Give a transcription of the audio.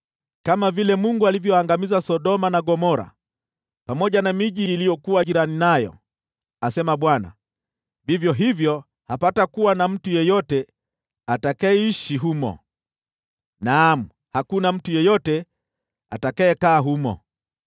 Kama vile Mungu alivyoangamiza Sodoma na Gomora pamoja na miji iliyokuwa jirani nayo,” asema Bwana , “vivyo hivyo hakuna mtu yeyote atakayeishi humo. Naam, hakuna mtu yeyote atakayekaa humo.